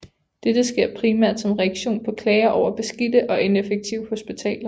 Dette sker primært som reaktion på klager over beskidte og ineffektive hospitaler